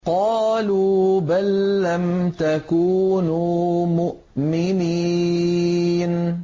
قَالُوا بَل لَّمْ تَكُونُوا مُؤْمِنِينَ